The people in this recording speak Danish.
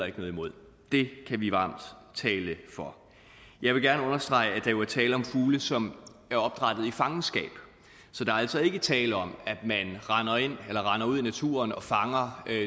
ikke noget imod det kan vi varmt tale for jeg vil gerne understrege at der jo er tale om fugle som er opdrættet i fangenskab så der er altså ikke tale om at man render ud i naturen og fanger